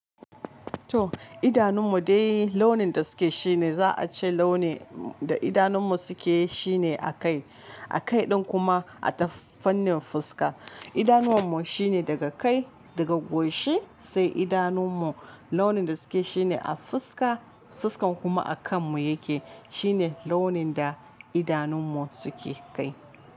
To idanun mu dai launin da suke shi ne za a ce launi da idanun mu suke shi ne a kai, a kai din kuma a tafanin fuska. Idanuwan mu shine daga kai, daga goshi sai idanun mu launin da suke shi ne a fuska, fuskan kuma a kan mu yake. Shi ne launin da idanun mu suke kai.